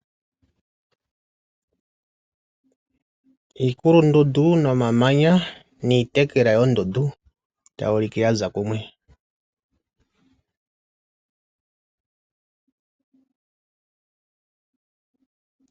Iikulundundu nomamanya Niitekela yondundu tayi ulike yaza kumwe.